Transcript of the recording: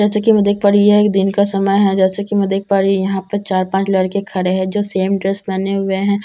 जैसा कि मैं देख पा रही यह दिन का समय है जैसे कि मैं देख पा रही यहां पर चार पांच लड़के खड़े है जो सेम ड्रेस पहने हुए हैं।